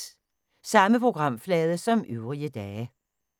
Samme programflade som øvrige dage